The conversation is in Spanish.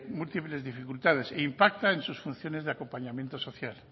múltiples dificultades e impacta en sus funciones de acompañamiento social